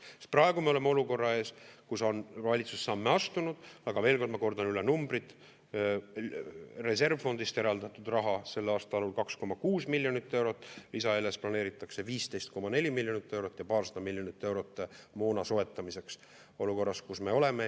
Sest praegu me oleme olukorra ees, kus valitsus on samme astunud, aga veel kord ma kordan üle numbrid: reservfondist on eraldatud raha sel aastal 2,6 miljonit eurot, lisaeelarvest planeeritakse 15,4 miljonit eurot ja paarsada miljonit eurot moona soetamiseks olukorras, kus me oleme.